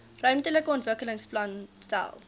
ruimtelike ontwikkelingsplan stel